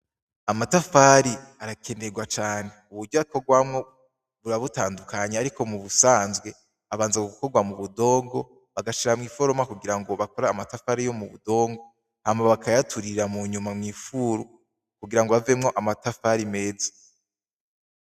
Amatafari arakenerwa cane uburyo akorwamwo buba butandukanye ari mu busanzwe abanza gukorwa mu budongo bagashira mw'iforomo ku gira bakore amatafari yo mubudongo hanyuma bakayaturira mw'ifuru kugirango havemwo amatafari meza.